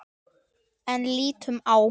En lítum á.